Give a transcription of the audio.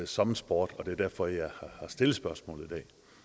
som en sport det er derfor jeg har stillet spørgsmålet